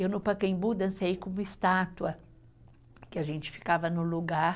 Eu, no Pacaembu, dancei com uma estátua que a gente ficava no lugar.